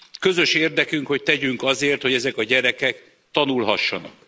Közös érdekünk, hogy tegyünk azért, hogy ezek a gyerekek tanulhassanak.